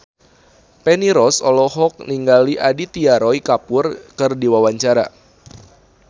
Feni Rose olohok ningali Aditya Roy Kapoor keur diwawancara